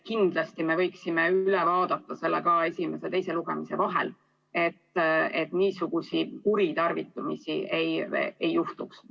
Kindlasti me võiksime sellegi üle vaadata esimese ja teise lugemise vahel, et niisuguseid kuritarvitamisi ei juhtuks.